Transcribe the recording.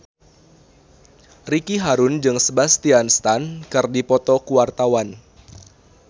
Ricky Harun jeung Sebastian Stan keur dipoto ku wartawan